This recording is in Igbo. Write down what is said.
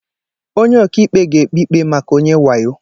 Onye ọka ikpe ga-ekpe ikpe maka onye wayo.